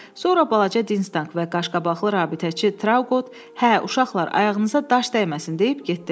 Sonra balaca Dinstank və qaşqabaqlı rabitəçi Trauqot, hə, uşaqlar, ayağınıza daş dəyməsin deyib getdilər.